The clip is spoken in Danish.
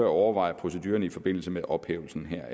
overveje proceduren i forbindelse med ophævelsen heraf